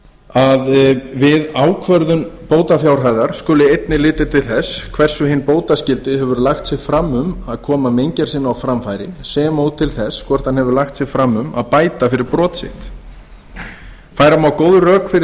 að við ákvörðun bótafjárhæðar skuli einnig litið til þess hversu hinn bótaskyldi hefur lagt sig fram um að koma meingerð sinni á framfæri sem og til þess hvort hann hefur lagt sig fram um að bæta fyrir brot sitt færa má góð rök fyrir